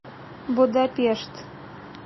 будапешт